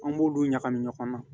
An b'olu ɲagami ɲɔgɔn na